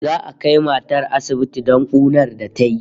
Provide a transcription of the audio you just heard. Za'a kai matar sa asibiti don kunar da tayi